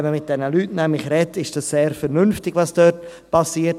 Wenn man mit diesen Leuten nämlich spricht, ist es sehr vernünftig, was dort passiert.